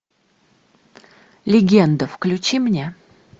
легенда включи мне